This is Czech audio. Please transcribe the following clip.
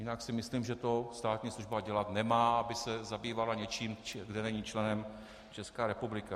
Jinak si myslím, že to státní služba dělat nemá, aby se zabývala něčím, kde není členem Česká republika.